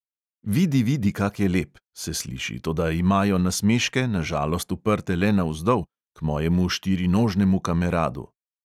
"Vidi, vidi, kak je lep!" se sliši, toda imajo nasmeške na žalost uprte le navzdol, k mojemu štirinožnemu kameradu.